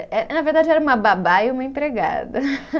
É, é, na verdade era uma babá e uma empregada.